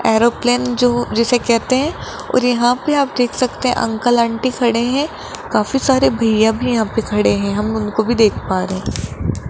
Aeroplane जो जिसे कहते हैं और यहां पे आप देख सकते अंकल आंटी खड़े हैं काफी सारे भैया भी यहां पे खड़े हैं हम उनको भी देख पा रहे हैं।